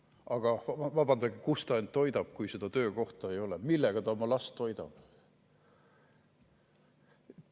Aga vabandage, kuidas ta ennast toidab, kui töökohta ei ole, millega ta oma last toidab?